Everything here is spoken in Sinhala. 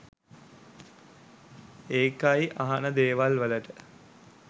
ඒකයි අහන දේවල් වලට